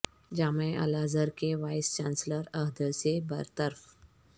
جامعہ الازہر کے vice chancellor عہدے سے بر طرف